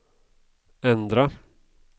ändra